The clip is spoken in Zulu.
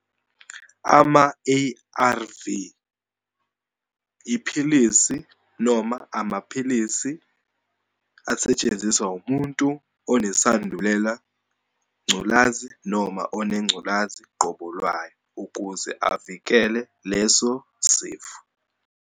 Ama-A_R_V, iphilisi noma amaphilisi asetshenziswa umuntu onesandulela ngculazi noma onengculazi qobo lwayo, ukuze avikele leso sifo.